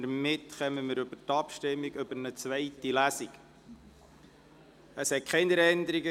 Damit kommen wir zur Abstimmung über die Durchführung einer zweiten Lesung.